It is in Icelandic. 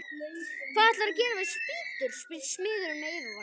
Hvað ætlarðu að gera við spýtur? spyr smiðurinn með yfirskeggið.